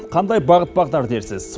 қандай бағыт бағдар дерсіз